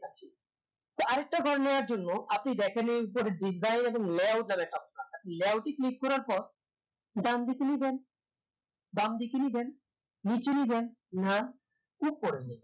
তো আর একটা ঘর নেওয়ার জন্য আপনি যেকানে উপরে click এবং করার পর দান দিকে নিয়ে যান দান দিকে নিবেন নিচে নিয়ে জানা না উপরে নিয়ে যান